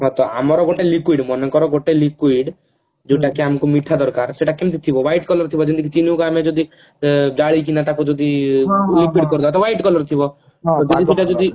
"ହଁ ତ ଆମର ଗୋଟେ liquid ମାନେ କର ଗୋଟେ liquid ଯୋଉଟା କି ଆମକୁ ମିଠା ଦରକାର ସେଟ କେମତି ଥିବ light color ଥିବ ଯେମତିକି ଚିନିର ଆମେ ଯଦି